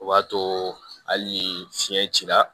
O b'a to hali fiɲɛ cira